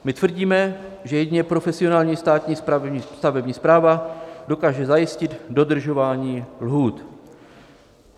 My tvrdíme, že jedině profesionální státní stavební správa dokáže zajistit dodržování lhůt.